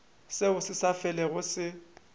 seo se sa felego se